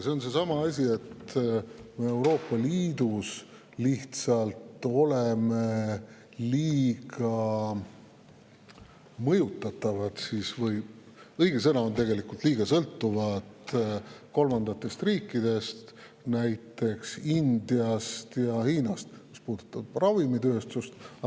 Siin on seesama asi, et me oleme Euroopa Liidus lihtsalt liiga mõjutatavad, tegelikult on õige, et liiga sõltuvad kolmandatest riikidest, näiteks Indiast ja Hiinast, mis puudutab ravimitööstust.